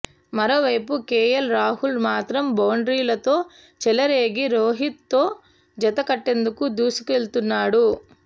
మరోవైపు కేఎల్ రాహుల్ మాత్రం బౌండరీలతో చెలరేగి రోహిత్తో జత కట్టేందుకు దూసుకెళుతున్నాడు